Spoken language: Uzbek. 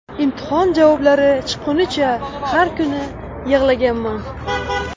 Imtihon javoblari chiqqunicha har kuni yig‘laganman.